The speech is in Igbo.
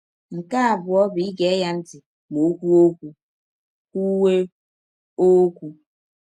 Nke abụọ bụ ige ya ntị ma ọ kwụwe ọkwụ. kwụwe ọkwụ.